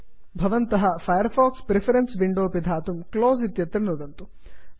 इदानीं भवन्तः Firefox preferences window पिधातुं क्लोज़ क्लोस् इत्यत्र नुदन्तु